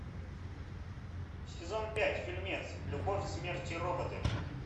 сезон пять фильмец любовь смерть и роботы